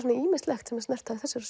ýmislegt sem er snert á í þessari